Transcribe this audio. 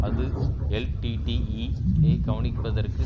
அது எல்டிடிஈ யைக் கவனிப்பதற்கு